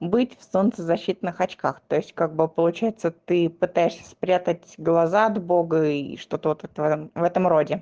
быть в солнцезащитных очках то есть как бы получается ты пытаешься спрятать глаза от бога и что-то в этом в этом роде